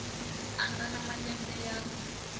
a nga na malembe ya